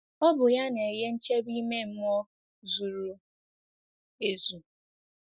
Ọ bụ ya na-enye nchebe ime mmụọ zuru ezu.